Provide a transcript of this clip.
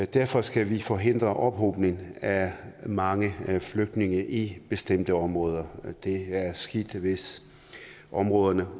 derfor skal vi forhindre ophobning af mange flygtninge i bestemte områder det er skidt hvis områderne